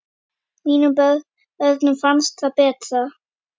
Mínum börnum finnst það betra.